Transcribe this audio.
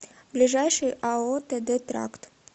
ближайший ао тд тракт